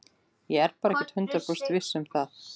Ég er bara ekki hundrað prósent viss um það.